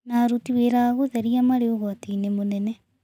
Na aruti wĩra a gũtheria marĩ ũgwati-inĩ mũnene